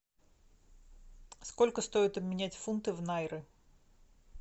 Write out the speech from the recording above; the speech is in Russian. сколько стоит обменять фунты в найры